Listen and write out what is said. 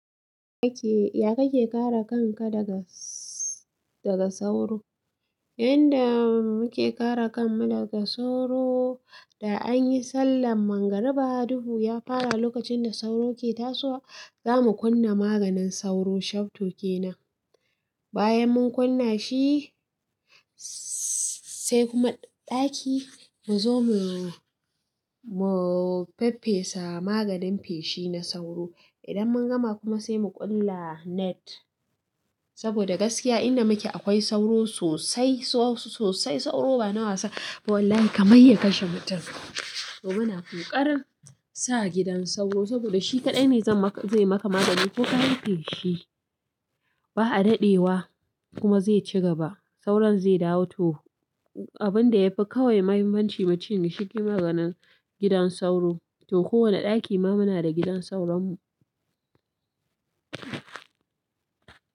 Kake ya kake kare kanka daga, daga sauro? Yanda muke kare kan mu daga sauro da anyi sallan mangariba duhu, ya fara lokacin da sauro ke tasowa. Za mu kunna maganin sauro, shafto kenan. Bayan mun kunna shi, sai kuma ɗaki mu zo mu, mu faffesa maganin feshi na sauro. Idan mun gama kuma sai mu ƙulla net. Saboda gaskiya in da muke akwai sauro sosai, so-sosai sauro ba na wasa. Wallahi kamai ya kashe mutum. To muna ƙoƙarin sa gidan sauro saboda shi kaɗai ne zan ma-zai maka magani ko ka yi feshi. Ba a daɗewa kuma zai ci gaba. Sauran zai dawo to abin da yafi kawai muhimmanci mutum ya shiga maganin gidan sauro. To kowane ɗaki ma muna da gidan sauran mu.